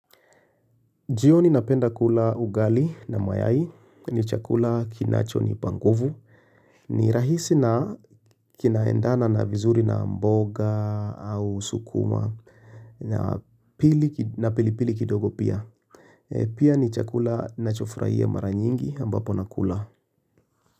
Jioni napenda kula ugali na mayai ni chakula kinacho ni pa nguvu ni rahisi na kinaendana na vizuri na mboga au sukuma na pilipili kidogo pia. Pia ni chakula nachofraia maranyingi ambapo nakula.